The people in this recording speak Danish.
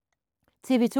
TV 2